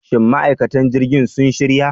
Shin ma'aikatan jirgin sun shirya?